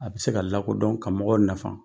A bɛ se ka lakodɔn ka mɔgɔw nafa